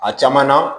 A caman na